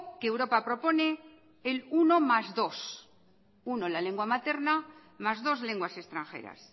que europa propone el uno más dos uno en la lengua materna más dos lenguas extranjeras